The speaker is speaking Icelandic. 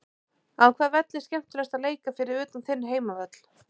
Á hvaða velli er skemmtilegast að leika fyrir utan þinn heimavöll?